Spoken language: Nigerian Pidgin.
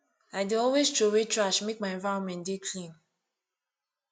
i dey always troway trash make my environment dey clean